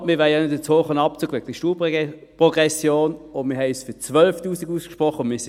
Aber wir wollen wegen der Steuerprogression auch nicht einen zu hohen Abzug.